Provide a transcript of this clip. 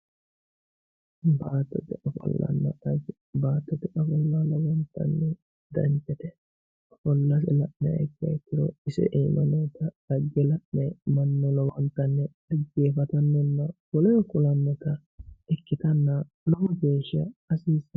baattote ofollonna xagge baattote ofollo lowo geeshsha danchate ofollase la'niha ikkiha ikkiro ise aana noota xagge mannu lowontanni xaggeeffatannonna woleho kulannota ikkitanna lowo geeshsha hasiissanno.